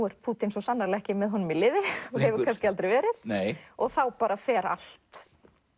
er ekki með honum í liði og hefur kannski aldrei verið og þá fer allt